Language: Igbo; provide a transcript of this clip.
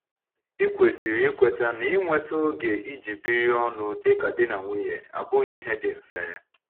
Ikwesịrị ikweta na inweta oge iji biri ọnụ dịka di na nwunye abụghị ihe dị mfe.